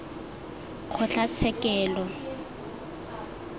kgotlatshekelo